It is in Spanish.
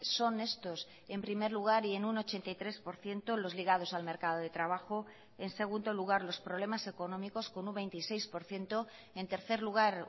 son estos en primer lugar y en un ochenta y tres por ciento los ligados al mercado de trabajo en segundo lugar los problemas económicos con un veintiséis por ciento en tercer lugar